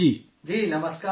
جی نمسکار سر